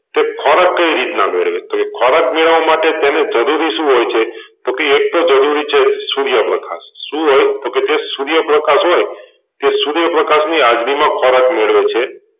તે ખોરાક કઈ રીતના મેળવે છે ખોરાક મેળવવા માટે તેને જરૂરી શું હોય છે તો એક તો જરૂરી છે સુર્યપ્રકાશ શું હોય તોકે સુર્યપ્રકાશ હોય તો સુર્યપ્રકાશ ની હાજરીમાં ખોરાક મેળવે છે.